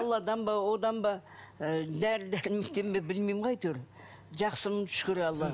алладан ба одан ба ы дәрі дәрмектен бе білмеймін ғой әйтеуір жақсымын шүкір аллаға